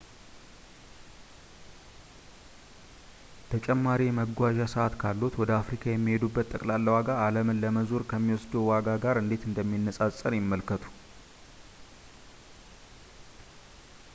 ተጨማሪ የመጓዣ ሰዓት ካልዎት ወደ አፍሪካ የሚሄዱበት ጠቅላላ ዋጋ አለምን ለመዞር ከሚወስደው ዋጋ ጋር እንዴት እንደሚነፃፀር ይመልከቱ